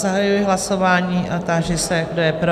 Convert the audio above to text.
Zahajuji hlasování a táži se, kdo je pro?